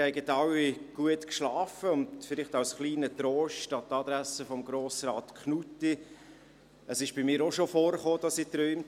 Vielleicht als kleiner Trost an die Adresse von Grossrat Knutti: Es kam bei mir auch schon vor, dass ich träumte.